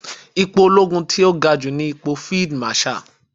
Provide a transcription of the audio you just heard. Ipò olóogun tó ga jù ní ipò Field Marshal.